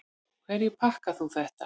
Hverju þakkar þú þetta?